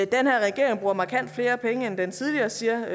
den her regering bruger markant flere penge end den tidligere siger